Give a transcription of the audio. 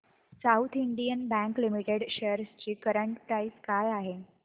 south Indian bank limited shares ची current price काय आहे